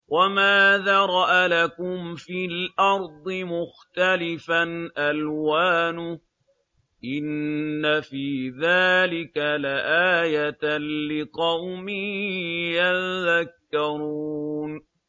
وَمَا ذَرَأَ لَكُمْ فِي الْأَرْضِ مُخْتَلِفًا أَلْوَانُهُ ۗ إِنَّ فِي ذَٰلِكَ لَآيَةً لِّقَوْمٍ يَذَّكَّرُونَ